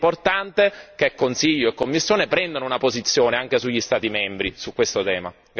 È importante che Consiglio e Commissione prendano una posizione, anche sugli Stati membri, su questo tema.